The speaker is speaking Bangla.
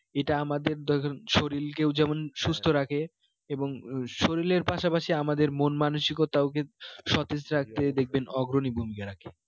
এটা আমাদের শরীর কেও যেমন সুস্থ রাখে এবং শরীরের পাশাপাশি আমাদের মন মানসিকতাও কিন্তু সতেজ রাখতে দেখবেন রাখে